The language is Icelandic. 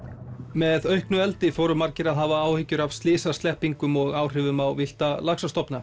með auknu eldi fóru margir að hafa áhyggjur af slysasleppingum og áhrifum á villta laxastofna